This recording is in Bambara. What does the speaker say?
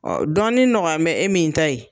dɔɔni nɔgɔya nin bɛ e min ta ye,